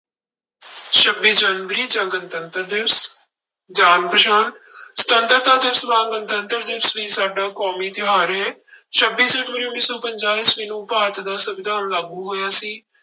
ਛੱਬੀ ਜਨਵਰੀ ਜਾਂ ਗਣਤੰਤਰ ਦਿਵਸ, ਜਾਣ ਪਛਾਣ ਸੁਤੰਤਰਤਾ ਦਿਵਸ ਵਾਂਗ ਗਣਤੰਤਰ ਦਿਵਸ ਵੀ ਸਾਡਾ ਕੌਮੀ ਤਿਉਹਾਰ ਹੈ ਛੱਬੀ ਜਨਵਰੀ ਉੱਨੀ ਸੌ ਪੰਜਾਹ ਈਸਵੀ ਨੂੰ ਭਾਰਤ ਦਾ ਸੰਵਿਧਾਨ ਲਾਗੂ ਹੋਇਆ ਸੀ,